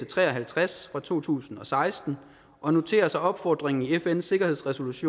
tre og halvtreds fra to tusind og seksten og noterer sig opfordringen i fns sikkerhedsråds